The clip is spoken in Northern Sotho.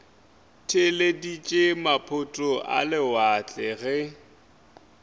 theeleditše maphoto a lewatle ge